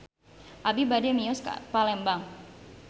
Abi bade mios ka Palembang